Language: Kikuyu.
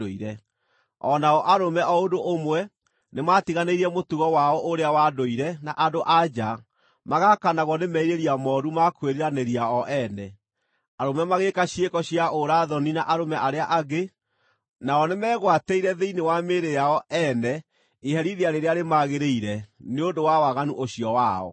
O nao arũme o ũndũ ũmwe nĩmatiganĩirie mũtugo wao ũrĩa wa ndũire na andũ-a-nja, magaakanagwo nĩ merirĩria mooru ma kwĩriranĩria o ene. Arũme magĩĩka ciĩko cia ũra-thoni na arũme arĩa angĩ, nao nĩmegwatĩire thĩinĩ wa mĩĩrĩ yao ene iherithia rĩrĩa rĩmagĩrĩire nĩ ũndũ wa waganu ũcio wao.